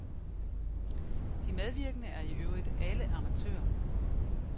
De medvirkende er i øvrigt alle amatører.